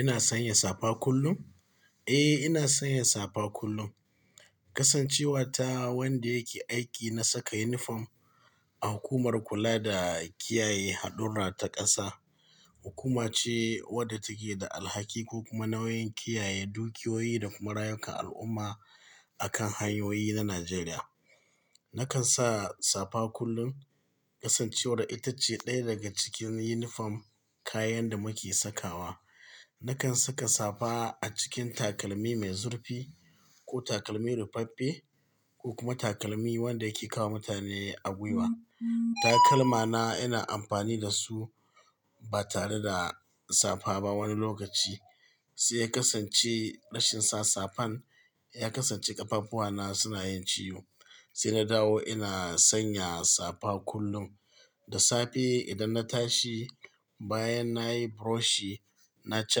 Ina sanya safa kullum? Eh, ina sanya safa kullum. Kasancewa ta wanda yake aiki na saka yunifom, a hukumar kula da kiyaye haɗurra ta ƙasa. Hukuma ce wadda take da alhaki ko kuma nauyin kiyaye dukiyoyi da kuma rayukan al'umma, akan hanyoyi na Najeriya. Nakan sa safa kullum, kasancewar ita ce ɗaya daga cikin yunifom, kayan da muke sakawa. Nakan saka safa a cikin takalmi mai zurfi, ko takalmi rufaffe, ko kuma takalmi wanda yake kawowa mutane a gwiwa, takalma na ina amfani da su, ba tare da safa ba wani lokaci. Sai ya kasance rashin sa safar, ya kasance ƙafafuwa na suna yin ciwo. Sai na dawo ina sanya safa kullum. Da safe idan na tashi, bayan nayi buroshi, naci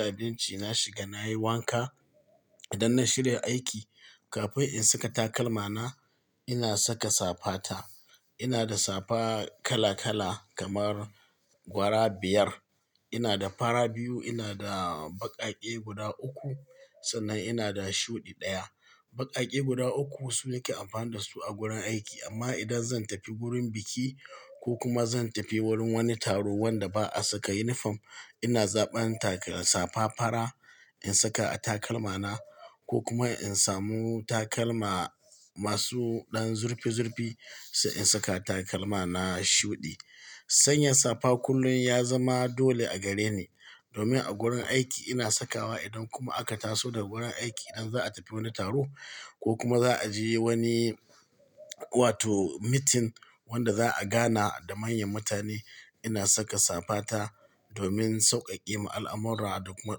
abinci na shiga nayi wanka. Idan na shirya aiki, kafin in saka takalma na, ina saka safa ta. Ina da safa kala kala kamar gwara biyar. Ina da fara biyu, ina da baƙaƙe guda uku sannan ina da shuɗi ɗaya. Baƙaƙe guda uku su nake amfani da su a gurin aiki. Amma idan zan tafi gurin biki, ko kuma zan tafi wurin wani taro wanda ba a saka yunifom, ina zaɓan taka safa fara, in saka a takalma na, ko kuma in samu takalma. Masu ɗan zurfi-zurfi, sai in saka takalma na shuɗi. Sanya safa kullum ya zama dole a gare ni, domin a gurin aiki ina sakawa idan kuma aka taso daga gurin aiki idan za a tafi wani taro, ko kuma za a je wani. Wato mitin, wanda za'a gana da manyan mutane, ina saka safa ta. Domin sauƙaƙe al'amura da kuma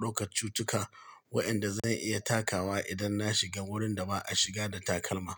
ɗaukar cutuka, wa'yanda zan iya takawa idan na shiga wurin da ba a shiga da takalma.